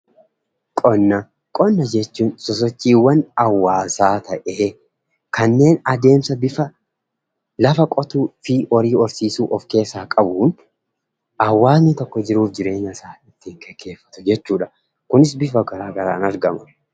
Qonna: Qonna jechuun sosochiiwwan hawaasaa ta'ee kanneen adeemsa bifa lafa qotuutii fi horii horsiisuu of keessaa qabuun hawaasni tokko jiruu fi jireenya isaa ittiin geggeeffatu jechuu dha. Kunis bifa garaagaraan argama.